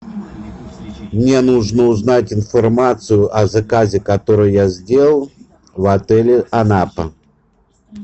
мне нужно узнать информацию о заказе который я сделал в отеле анапа